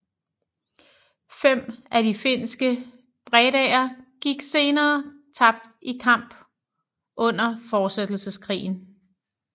Fem af de finske Bredaer gik senere tabt i kamp under Fortsættelseskrigen